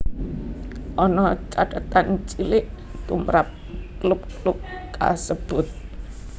Ana cathetan cilik tumrap klub klub kasebut